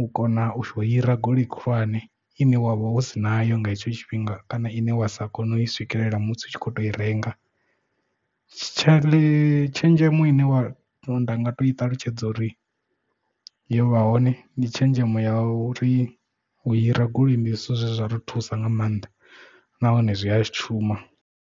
u kona u hira goloi khulwane ine wavha usi nayo nga hetsho tshifhinga kana ine wa sa kone u i swikelela musi u tshi kho to i renga tshenzhemo ine nda nga to i ṱalutshedza uri yo vha hone ndi tshenzhemo ya u ri u hira goloi ndi zwithu zwe zwa ri thusa nga maanḓa nahone zwi a shuma.